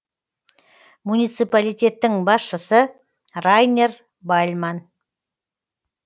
муниципалитеттің басшысы райнер бальман